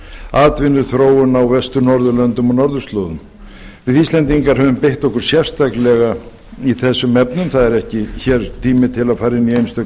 atvinnuþróun á vestur norðurlöndum og norðurslóðum við íslendingar höfum beitt okkur sérstaklega í þessum efnum það er ekki hér tími til að fara inn í